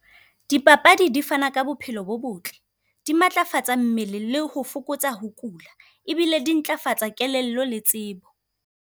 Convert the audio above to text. Dipapadi di fana ka bophelo bo botle, di matlafatsa mmele le ho fokotsa ho kula. Ebile di ntlafatsa kelello le tsebo.